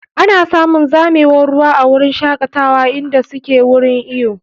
Ana samun zamewar ruwa a wurin shakatawa inda suke wurin iyo.